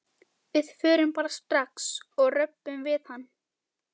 Við förum bara strax og röbbum við hann.